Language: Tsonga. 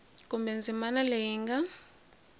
kumbe ndzimana leyi yi nga